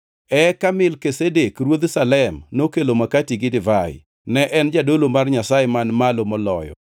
Eka Melkizedek ruodh Salem nokelo makati gi divai. Ne en jadolo mar Nyasaye Man Malo Moloyo,